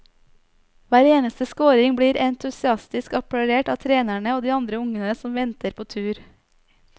Hver eneste scoring blir entusiastisk applaudert av trenerne og de andre ungene som venter på tur.